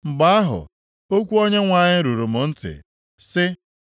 Mgbe ahụ, okwu Onyenwe anyị ruru m ntị, sị,